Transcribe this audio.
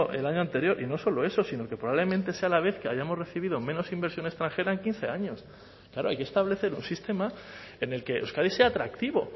el año anterior y no solo eso sino que probablemente sea la vez que hayamos recibido menos inversión extranjera en quince años claro hay que establecer un sistema en el que euskadi sea atractivo